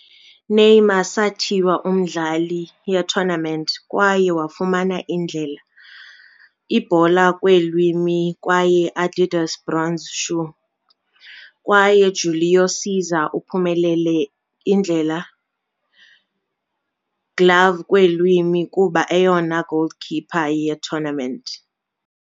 Neymar sathiywa umdlali ye-tournament kwaye wafumana Indlela- Ibhola Kweelwimi kwaye Adidas Bronze Shoe, kwaye Júlio César uphumelele Indlela- Glove Kweelwimi kuba eyona goalkeeper ye-tournament.